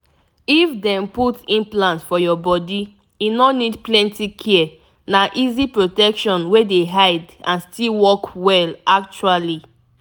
if dem put implant for your body e no need plenty care na easy protection wey dey hide and still work well actually.